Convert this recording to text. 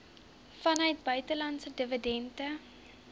vanuit buitelandse dividende